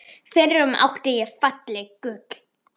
FYRRUM ÁTTI ÉG FALLEG GULL